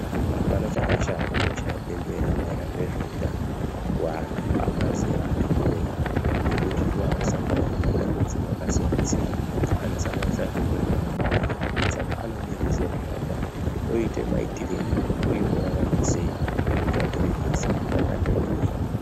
Hapana chakashata kuchaya bembera maererano nezveutano vantu vabva zera ati kurei. Ngekuti ndovakusangana nematambudziko akasiyana-siyana, anosandanisa zvirwere zvepabonde. Saka anode ruzivo rwakakwana kuti oita maitirei uye vorarama sei munyika yatiri nhasi nekuti angapera kufa.